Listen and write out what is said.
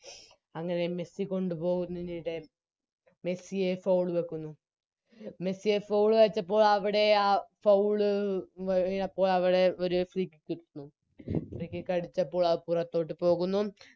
അങ്ങനെ മെസ്സി കൊണ്ടുപോവുന്നതിനിടെ മെസ്സിയെ Foul വെക്കുന്നു മെസ്സിയെ Foul വെച്ചപ്പോൾ അവിടെ ആ Foul എ അപ്പൊ അവിടെ ഒരു Free kick കിട്ടുന്നു Free kick അടിച്ചപ്പോൾ അത് പുറത്തോട്ട് പോകുന്നു